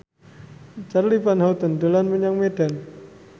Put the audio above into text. Charly Van Houten dolan menyang Medan